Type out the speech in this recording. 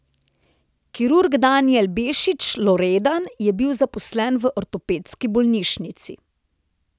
Kirurg Danijel Bešič Loredan je bil zaposlen v ortopedski bolnišnici.